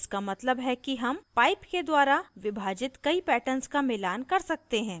जिसका मतलब है कि हम pipe के द्वारा विभाजित कई patterns का मिलान कर सकते हैं